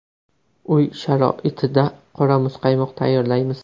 Uy sharoitida qora muzqaymoq tayyorlaymiz.